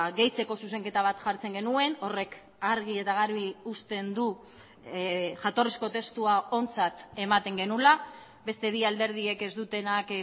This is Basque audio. gehitzeko zuzenketa bat jartzen genuen horrek argi eta garbi uzten du jatorrizko testua ontzat ematen genuela beste bi alderdiek ez dutenak